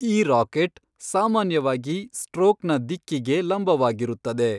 ಈ ರಾಕೆಟ್ ಸಾಮಾನ್ಯವಾಗಿ ಸ್ಟ್ರೋಕ್ನ ದಿಕ್ಕಿಗೆ ಲಂಬವಾಗಿರುತ್ತದೆ.